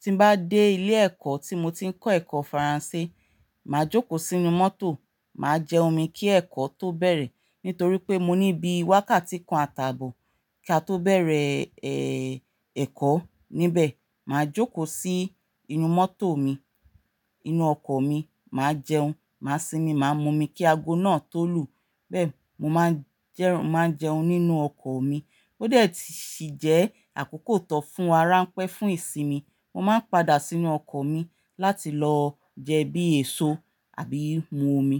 Tí n bá dé ilé ẹ̀kọ́ tí mo ti ń kọ́ ẹ̀kọ́ Faransé, màá jókòó sínú mọ́tò, màá jẹun mi kí ẹ̀kọ́ tó bẹ̀rẹ̀ nítorí pé mo níbí wákàtí kan àtàbò kí a tó bẹ̀rẹ̀, ẹ, ẹ̀kọ́ níbẹ̀. Màá jókòó sí inú mọ́tò mi, inú ọkọ̀ mi, màá jẹun, màá sinmi, màá mú omi kí ago náà tó lù. Bẹ́ẹ̀ ni mo máa ń jẹ́, máa ń jẹun nínú ọkọ̀ mi. Ó dẹ̀ ti sì jẹ́ àkókò tó fún ara ń pẹ́, fún ìsinmi. Mo máa ń padà sínú ọkọ̀ mi láti lọ jẹbí èso àbí mú omi.